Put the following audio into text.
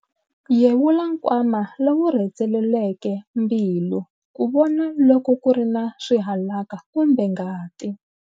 Yevula nkwama lowu rhendzeleleke mbilu ku vona loko ku ri na swihalaka kumbe ngati.